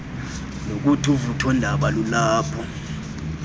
nokuthi uvuthondaba lulapha